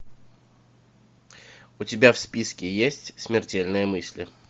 у тебя в списке есть смертельные мысли